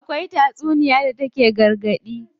Akwai tatsuniya da take gargaɗi.